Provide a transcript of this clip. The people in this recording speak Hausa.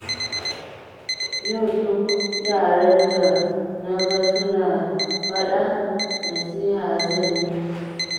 Yau duk yaran da naga suna faɗa nasiha zan yi musu.